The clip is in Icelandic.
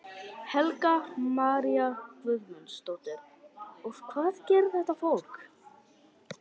Helga María Guðmundsdóttir: Og hvað gerir þetta fólk?